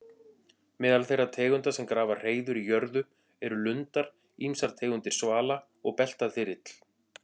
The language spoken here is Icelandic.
Meðal þeirra tegunda sem grafa hreiður í jörðu eru lundar, ýmsar tegundir svala og beltaþyrill.